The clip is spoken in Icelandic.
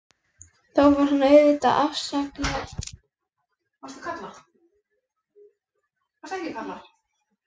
Þó var hann auðvitað óafsakanlega sjarmerandi, karlinn.